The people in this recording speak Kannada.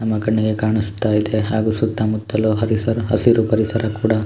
ನಮ್ಮ ಕಣ್ಣಿಗೆ ಕಾಣಿಸುತ್ತ ಇದೆ ಹಾಗು ಸುತ್ತಮುತ್ತಲು ಪರಿಸರ ಹಸಿರು ಪರಿಸರ ಕೂಡ.